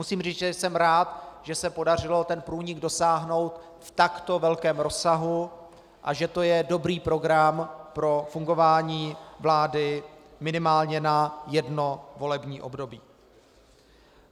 Musím říct, že jsem rád, že se podařilo toho průniku dosáhnout v takto velkém rozsahu, a že to je dobrý program pro fungování vlády minimálně na jedno volební období.